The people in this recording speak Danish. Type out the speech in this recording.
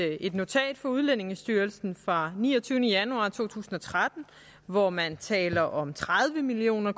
jo et notat fra udlændingestyrelsen fra niogtyvende januar to tusind og tretten hvor man taler om tredive million